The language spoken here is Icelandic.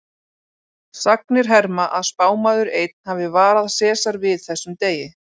Sagnir herma að spámaður einn hafi varað Sesar við þessum degi.